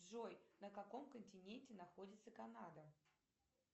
джой на каком континенте находится канада